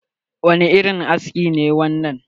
Wani irin aski ne wannan?